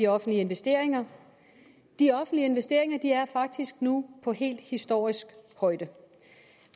offentlige investeringer de offentlige investeringer er faktisk nu på en helt historisk højde